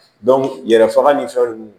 yɛrɛ faga ni fɛn ninnu